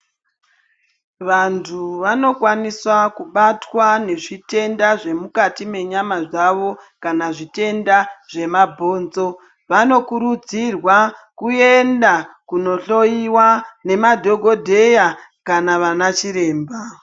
Vantu vanokwanisa kubatwa nezvitenda zvemukati mwenyama dzavo kana zvitenda zvemabhonzo, vanokurudzirwa kuenda kuno hloiwa nemadhokodheya kana anachiremba.